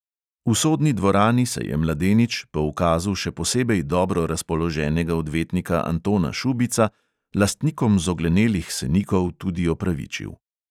V sodni dvorani se je mladenič, po ukazu še posebej dobro razpoloženega odvetnika antona šubica, lastnikom zoglenelih senikov tudi opravičil.